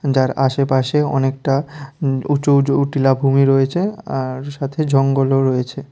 যার আশেপাশে অনেকটা উম্ উঁচু উঁচু উ টিলা ভূমি রয়েছে আর সাথে জঙ্গলও রয়েছে।